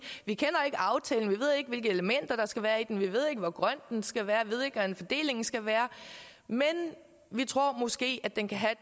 ikke aftalen vi ved ikke hvilke elementer der skal være i den vi ved ikke hvor grøn den skal være ved ikke hvordan fordelingen skal være men vi tror måske at den kan have